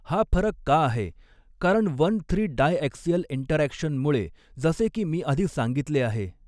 हा फरक का आहे कारण वन थ्री डायॲक्सिअल इंटरॅक्शन मुळे जसे की मी आधी सांगितले आहे.